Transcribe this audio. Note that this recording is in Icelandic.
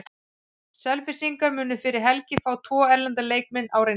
Selfyssingar munu fyrir helgi fá tvo erlenda leikmenn á reynslu.